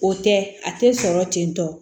O tɛ a tɛ sɔrɔ ten tɔ